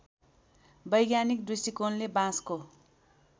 वैज्ञानिक दृष्टिकोणले बाँसको